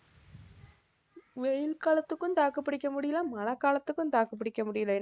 வெயில் காலத்துக்கும் தாக்கு பிடிக்க முடியல மழைக்காலத்துக்கும் தாக்கு பிடிக்க முடியல